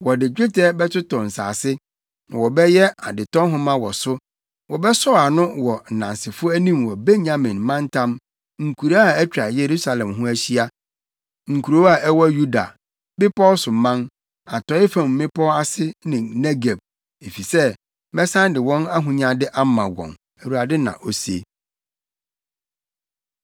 Wɔde dwetɛ bɛtotɔ nsase, na wɔbɛyɛ adetɔ nhoma wɔ so. Wɔbɛsɔw ano wɔ nnansefo anim wɔ Benyamin + 32.44 Benyamin mantam. Wɔbɔ Benyamin din ha kan efisɛ na hɔ yɛ ɔmantam a Yeremia kurow a ofi mu wɔ. mantam, nkuraa a atwa Yerusalem ho ahyia, nkurow a ɛwɔ Yuda, bepɔw so man, atɔe fam mmepɔw ase ne Negeb, efisɛ mɛsan de wɔn ahonyade ama wɔn, Awurade na ose.”